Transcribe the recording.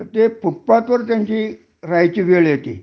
ते फुटपाथवर राहायची त्यांची वेळ येती